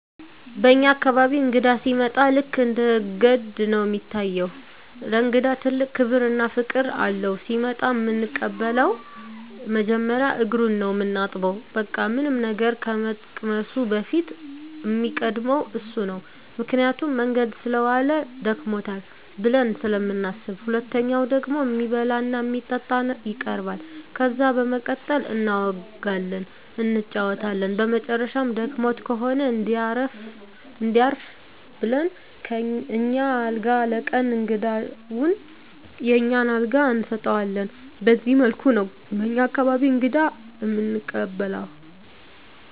በኛ አካባቢ እንግዳ ሲመጣ ልክ እንደ ገድ ነው እሚታየው። ለእንግዳ ትልቅ ክብር እና ፍቅር አለው። ሲመጣ እምንቀበለው መጀመሪያ እግሩን ነው ምናጥበው በቃ ምንም ነገር ከመቅመሱ በፊት እሚቀድመው እሱ ነው ምክንያቱም መንገድ ሰለዋለ ደክሞታል ብለን ስለምናስብ። ሁለተኛው ደግሞ እሚበላ እና እሚጠጣ ይቀርባል። ከዛ በመቀጠል እናወጋለን እንጫወታለን በመጨረሻም ደክሞት ከሆነ እንዲያርፍ ብለን አኛ አልጋ ለቀን እንግዳውን የኛን አልጋ እንሰጠዋለን በዚህ መልኩ ነው በኛ አካባቢ እንግዳ እምንቀበለው።